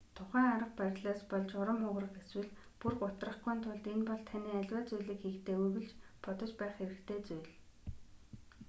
тухайн арга барилаас болж урам хугарах эсвэл бүр гутрахгүйн тулд энэ бол таны аливаа зүйлийг хийхдээ үргэлж бодож байх хэрэгтэй зүйл